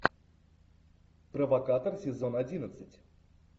провокатор сезон одиннадцать